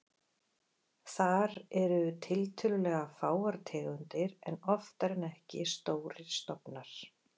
Þar eru tiltölulega fáar tegundir en oftar en ekki stórir stofnar.